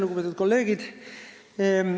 Lugupeetud kolleegid!